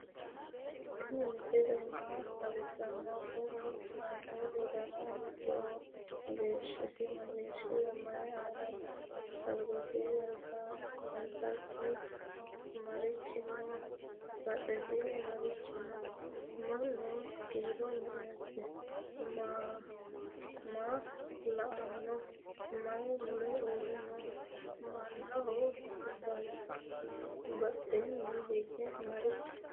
tini misile maa xawisano? kuuni kamelu danna hittoho? geshasi mageshiho? mayi aana no?albasinibmarichi no?badhesini marichi no?mannu kiiro me"ete? maa la"anino? mayi muule uure no?mannaho badheni hige marichi no